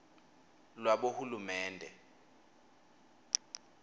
lwabohulumende